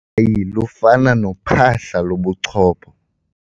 Ukhakayi lufana nophahla lobuchopho.